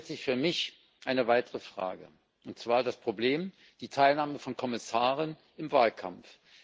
Damit stellt sich für mich eine weitere Frage, und zwar das Problem der Teilnahme von Kommissaren am Wahlkampf.